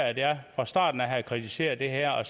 at jeg fra starten af kritiserede det her og